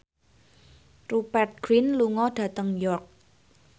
Rupert Grin lunga dhateng York